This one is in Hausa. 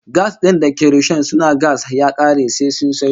Gas din da ke rishon su na gas ya kare sai sun sayo